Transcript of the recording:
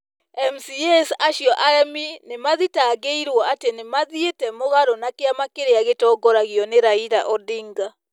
MCAs acio aremi nĩ mathitangĩirwo atĩ nĩ mathiĩte mũgarũ na kĩama kĩrĩa gĩtongoragio nĩ Raila Odinga.